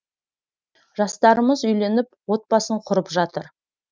жастарымыз үйленіп отбасын құрып жатыр